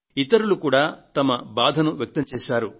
ఇతరులు కూడా వారి బాధను వెళ్లబోసుకొన్నారు